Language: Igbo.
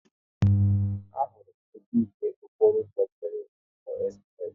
A hụrụ m nnukwu ihe okporo ụzọ mmere n'ụzọ espress